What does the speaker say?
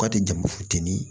Ka di jamu futeni